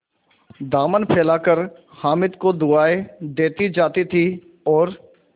दामन फैलाकर हामिद को दुआएँ देती जाती थी और